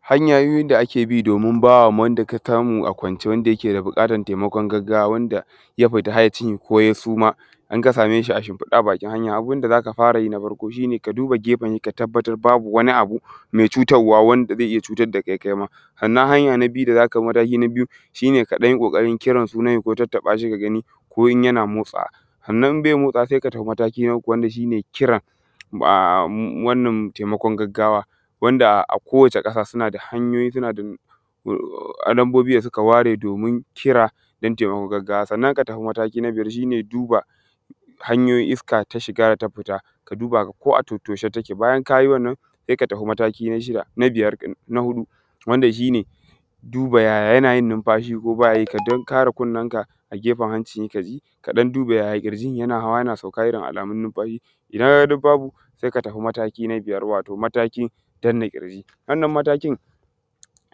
hanyoyin da ake bi domin ba ma wanda ka samu a kwance wanda yake da bukatan taimakon gaggawa wanda ja fita hayyacinsa koh ya suma in ka same shi shinfide a hanya abinda zaka farayi na farko shine ka duba gefensa kaga babu abinda ya faru me cutarwa wanda zai ia cutan da ka kaima sannan anya na biyu da zaka bi mataki na bijyu ʃine ka danyi kokarin kiran sunan shi ko ka dan tattabashi ka gani ko in yana motsawa sannan in be motsawa sai ka dau mataki na uku wanda shine kira wannan taimakon gaggawa wanda a ko wace ƙasa kuna da hanyoyin suna da numbobinda suka ware domin kira dan tai makon gaggawa sannan ka tafi mataki na biyar shine duba hanyoyin iska ta shiga ta fita ka duba ko a tattoshe take bajan kayi wannan sai ka tafi mataki na shida na biyar na hudu wanda shine duba yaya yana yin nunfashi dan kara kunnun ka a geɸen hancin he kayi ka dan duba ya kiyin yana hawa yana sauka irin alamun nunfashi ka kaga duk babu sai ka tafi mata ki na biyar wato matakin danna kirǳi wannan matakin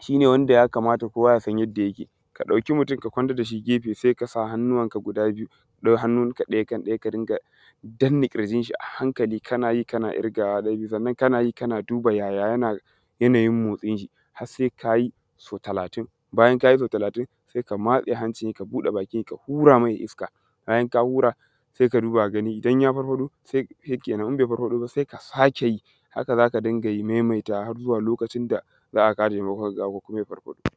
shine wanda ya kamata kowa yasan yanda yake ka dauki mutun ka kwantan dashi sai kasa hannun ka guda biyu dau hannun ka daya kan daya ka runga danna kirǳinshi a hankali kana ji kana irgawa sannan kana ji kana duba jaja janajin motsinʃi har sai kaji so talatin bayan kayi so talatin sai ka matse hancinsa ka buɗe bakinsa ka hura me iska bayan ka hura sai ka duba idan ya farfado se kenan in be farfaɗo ba se ka sake yi haka zaka ruga memeta harzuwa lokaci da za a kawo temakon gaggawa ko kuma ya farfaɗo